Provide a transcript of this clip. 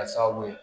Ka sababu ye